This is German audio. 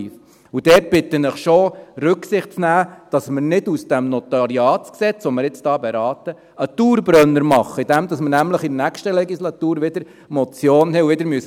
Und dort bitte ich Sie schon, Rücksicht zu nehmen, dass wir aus diesem NG, das wir jetzt beraten, nicht einen Dauerbrenner machen, indem wir nämlich in der nächsten Legislatur wieder eine Motion haben und wieder sagen müssen: